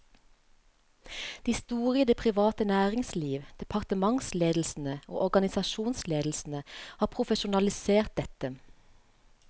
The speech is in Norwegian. De store i det private næringsliv, departementsledelsene og organisasjonsledelsene har profesjonalisert dette.